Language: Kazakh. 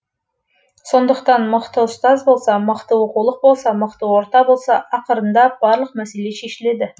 сондықтан мықты ұстаз болса мықты оқулық болса мықты орта болса ақырындап барлық мәселе шешіледі